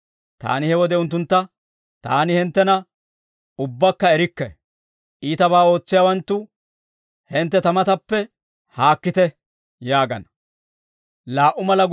Taani he wode unttuntta, ‹Taani hinttena ubbakka erikke; iitabaa ootsiyaawanttu hintte ta matappe haakkite› yaagana.